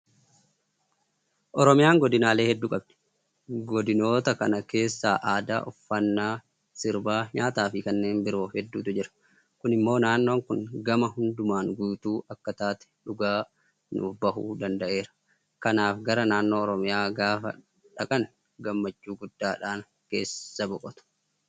Oromiyaan godinaalee hedduu qabdi. Godinoota kana keessatti aadaa uffataa, Sirba, nyaataafi kanneen biroo hedduutu jira. Kun immoo naannoon kun gama hundumaan guutuu akka taate dhugaa nuufbahuu danda'eera. Kanaaf gara naannoo Oromiyaa gaafa dhaqan gammachuu guddaadhaan keessa boqotu.